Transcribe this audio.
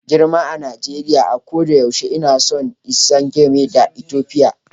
Girma a Najeriya, a koda yaushe ina son insan game da Ethiopia.